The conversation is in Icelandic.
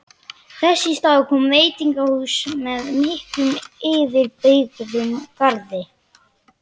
Þess í stað komið veitingahús með miklum yfirbyggðum garði